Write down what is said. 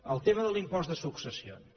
el tema de l’impost de successions